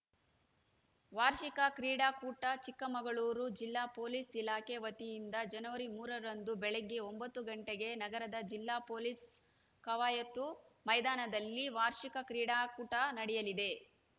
ವಾರ್ಷಿಕ ಕ್ರೀಡಾಕೂಟ ಚಿಕ್ಕಮಗಳೂರು ಜಿಲ್ಲಾ ಪೊಲೀಸ್‌ ಇಲಾಖೆ ವತಿಯಿಂದ ಜನವರಿ ಮೂರರಂದು ಬೆಳಿಗ್ಗೆ ಒಂಬತ್ತು ಗಂಟೆಗೆ ನಗರದ ಜಿಲ್ಲಾ ಪೊಲೀಸ್‌ ಕವಾಯತು ಮೈದಾನದಲ್ಲಿ ವಾರ್ಷಿಕ ಕ್ರೀಡಾಕೂಟ ನಡೆಯಲಿದೆ